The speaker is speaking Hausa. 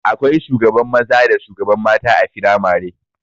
Akwai shugaban maza da shugaban mata a firamare